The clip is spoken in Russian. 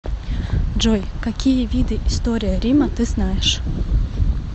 джой какие виды история рима ты знаешь